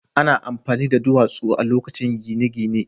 Ana amfani da duwatsu a lokacin gine-gine.